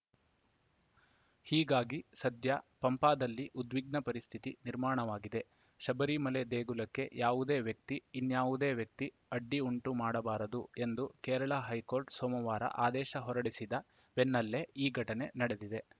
ಹೀಗಾಗಿ ಸದ್ಯ ಪಂಪಾದಲ್ಲಿ ಉದ್ವಿಗ್ನ ಸ್ಥಿತಿ ನಿರ್ಮಾಣವಾಗಿದೆ ಶಬರಿಮಲೆ ದೇಗುಲಕ್ಕೆ ಯಾವುದೇ ವ್ಯಕ್ತಿ ಇನ್ಯಾವುದೇ ವ್ಯಕ್ತಿ ಅಡ್ಡಿ ಉಂಟು ಮಾಡಬಾರದು ಎಂದು ಕೇರಳ ಹೈಕೋರ್ಟ್‌ ಸೋಮವಾರ ಆದೇಶ ಹೊರಡಿಸಿದ ಬೆನ್ನಲ್ಲೇ ಈ ಘಟನೆ ನಡೆದಿದೆ